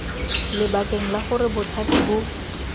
lebakeng la gore bothati bo